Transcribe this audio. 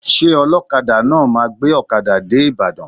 Ṣé ọlọkada náà máa gbé ọkada dé Ibadan?